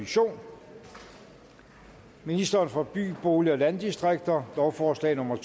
to ministeren for by bolig og landdistrikter lovforslag nummer